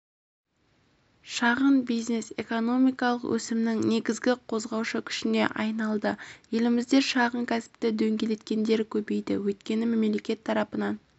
шағын бизнес экономикалық өсімнің негізгі қозғаушы күшіне айналды елімізде шағын кәсіпті дөңгелеткендер көбейді өйткені мемлекет тарапынан